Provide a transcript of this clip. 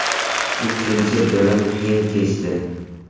Ikkinchi bo‘lim qiyin kechdi.